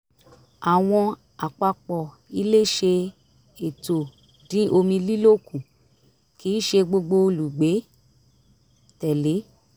àwọn àpapọ̀ ilé ṣe ètò dín omi lílò kù kì í ṣe gbogbo olùgbé tẹ̀lé